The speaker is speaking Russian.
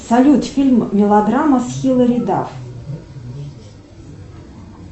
салют фильм мелодрама с хиллари дафф